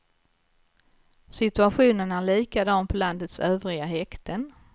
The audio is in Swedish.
Situationen är likadan på landets övriga häkten.